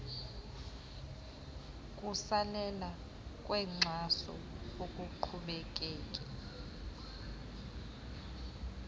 kusalela kwenkxaso akuqhubekeki